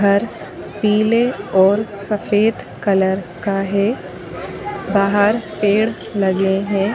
घर पीले और सफेद कलर का है बहार पेर लगे हैं।